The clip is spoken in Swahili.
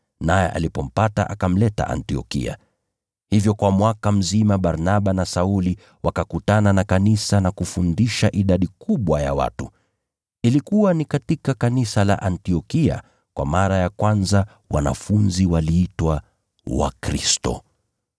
naye alipompata akamleta Antiokia. Hivyo kwa mwaka mzima Barnaba na Sauli wakakutana na kanisa na kufundisha idadi kubwa ya watu. Ilikuwa ni katika kanisa la Antiokia kwa mara ya kwanza wanafunzi waliitwa Wakristo.